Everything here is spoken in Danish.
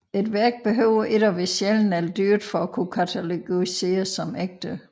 Et værk behøver ikke at være sjældent eller dyrt for at kunne katalogiseres som ægte